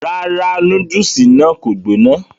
rárá, núdùsì náà kò gbóná